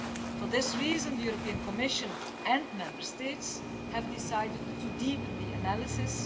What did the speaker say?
For this reason, the Commission and Member States have decided to deepen the analysis.